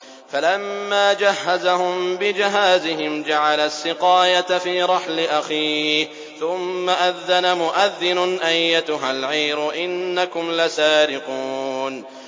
فَلَمَّا جَهَّزَهُم بِجَهَازِهِمْ جَعَلَ السِّقَايَةَ فِي رَحْلِ أَخِيهِ ثُمَّ أَذَّنَ مُؤَذِّنٌ أَيَّتُهَا الْعِيرُ إِنَّكُمْ لَسَارِقُونَ